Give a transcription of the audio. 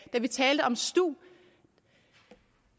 da vi talte om stu